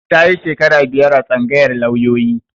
Ta yi shekara biyar a tsangayar lauyoyi